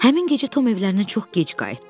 Həmin gecə Tom evlərinə çox gec qayıtdı.